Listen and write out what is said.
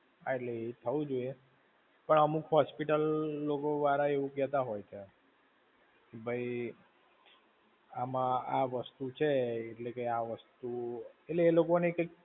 હા એટલે, એ થવું જોઈએ. પણ અમુક hospital લોકો વાળા એવું કહેતા હોય છે, કે ભઈ, આમ આ વસ્તુ છે એટલે કે આ વસ્તુ, એટલે એલોકોની કંઈક